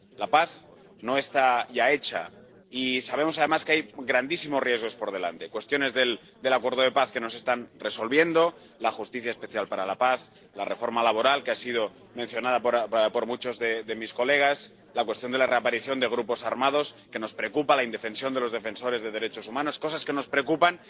La paz no está ya hecha, y sabemos además que hay grandísimos riesgos por delante cuestiones del acuerdo de paz que no se están resolviendo, la justicia especial para la paz, la reforma laboral —que ha sido mencionada por muchas de sus señorías—, la cuestión de la reaparición de grupos armados —que nos preocupa—, la indefensión de los defensores de derechos humanos, cosas que nos preocupan.